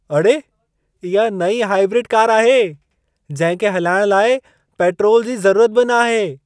अड़े! इहा नईं हाइब्रिड कार आहे, जहिं खे हलाइण लाइ पेट्रोल जी ज़रूरत बि न आहे।